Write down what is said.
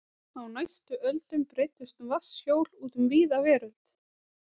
Á næstu öldum breiddust vatnshjól út um víða veröld.